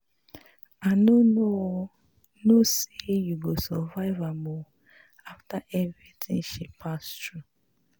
I no um know say she go survive um after everything she pass through